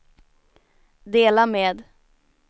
dela med